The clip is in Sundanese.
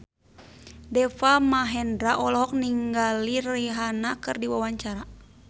Deva Mahendra olohok ningali Rihanna keur diwawancara